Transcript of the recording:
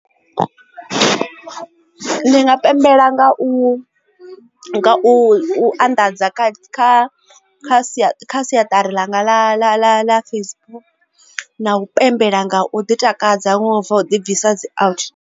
Ndi nga pembela nga u u anḓadza kha sia ḽa kha siaṱari ḽanga ḽa Facebook na u pembela nga u ḓi takadza wa bva u dibvisa dzi out.